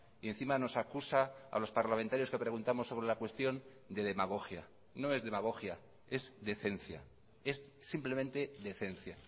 y encima nos acusa a los parlamentarios que preguntamos sobre la cuestión de demagogia no es demagogia es decencia es simplemente decencia